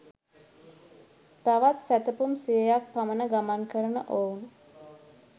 තවත් සැතපුම් සියයක් පමණ ගමන් කරන ඔවුන්